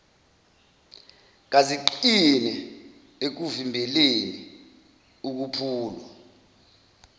kaziqine ekuvimbeleni ukuphulwa